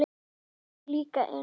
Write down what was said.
Nú kom pabbi líka inn.